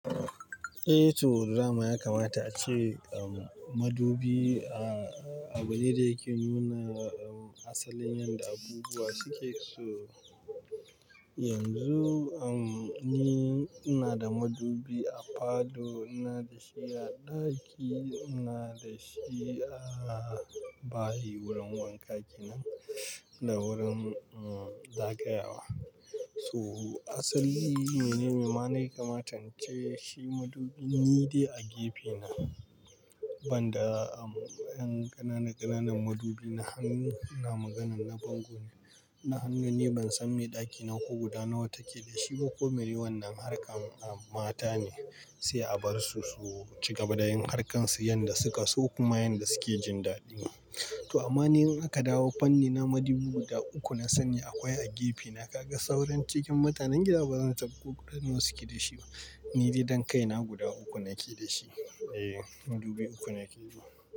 Eh to, dama ya kamata ace, um, madubi a, abu ne da yake nuna, um, asalin yanda abubuwa suke so. Yanzu, um, ni ina da madubi a falo, ina da shi a ɗaki, ina da shi a bayi wurin wanka kenan, da wurin, um, zagayawa. So asali, mene ne ma nayi kamata in ce? Shi madubin ni dai a gefe na banda, um, ƴan ƙanana ƙananan madubi na hannu, ina maganan na bango ne, na hannu ni ban san me ɗaki nako guda nawa take da shi ba, ko meye wannan harkan, um, mata ne sai a bar su su ci gaba da yin harkarsu yanda suka so kuma yanda suke jin daɗi. To amma ni in aka dawo fanni na madubu guda uku na sani akwai a gefe na, ka ga sauran cikin matanen gida ba zan tab guduwan nawa suke da shi ba. Ni dai dan kai na guda uku nake da shi. Eh, madubi uku nake da su.